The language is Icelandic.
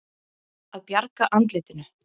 Að bjarga andlitinu